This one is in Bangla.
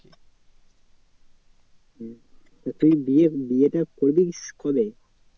হম তুই বিয়ে বিয়েটা করছিস কবে?